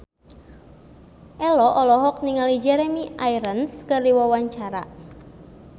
Ello olohok ningali Jeremy Irons keur diwawancara